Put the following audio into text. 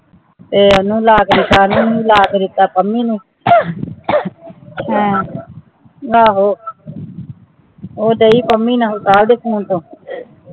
ਆਯ ਆਯ੍ਨੁ ਲਾ ਕੇ ਦਿਤਾ ਪਾਮੀ ਨੂ ਆ ਆ ਹੋ ਊ ਦੇਇ ਪਾਮੀ ਨਾਲ ਕਦ ਕੇ ਹੋਣ ਤਾਂ